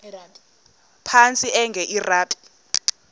phantsi enge lrabi